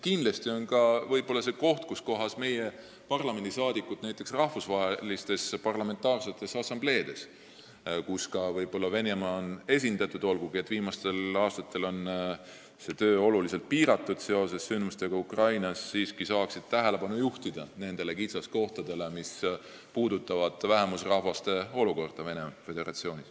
Kindlasti on kohti, kus ka meie parlamendiliikmed – näiteks rahvusvahelistes parlamentaarsetes assambleedes, kus ka Venemaa on esindatud, olgugi et viimastel aastatel on sealne töö oluliselt piiratum seoses sündmustega Ukrainas – saaksid tähelepanu juhtida nendele kitsaskohtadele, mis puudutavad vähemusrahvaste olukorda Venemaa Föderatsioonis.